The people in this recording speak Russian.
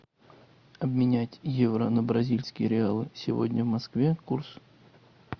обменять евро на бразильские реалы сегодня в москве курс